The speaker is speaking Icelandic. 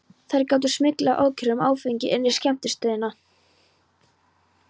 Þær gátu smyglað ókjörum af áfengi inn á skemmtistaðina.